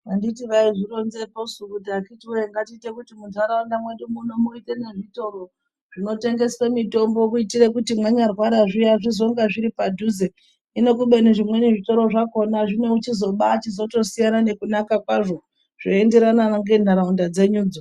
Anditi vaizvironzepo su kuti akiti wee ngatite kuti mundaraunda medu muno muite nezvitoro zvinotengeswe mitombo kuitire kuti mwanya rwara zviya zvizonga zviripadhuze hino kubeni zvimweni zvitoro zvakona zvinochizoba chizotosiyana nekunaka kwazvo zveienderana ngenharaunda dzenyudzo.